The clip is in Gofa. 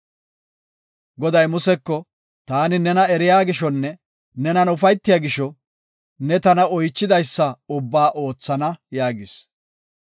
Goday Museko, “Taani nena eriya gishonne nenan ufaytida gisho, ne tana oychidaysa ubbaa oothana” yaagis.